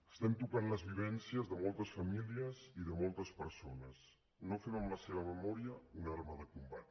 estem tocant les vivències de moltes famílies i de moltes persones no fem amb la seva memòria una arma de combat